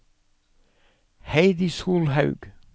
Heidi Solhaug